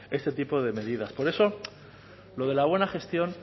este tipo de medidas por eso lo de la buena gestión